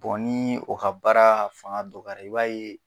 nii o ka baaraa faŋa dɔgɔyara i b'a ye